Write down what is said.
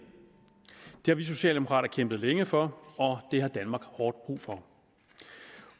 det har vi socialdemokrater kæmpet længe for og det har danmark hårdt brug for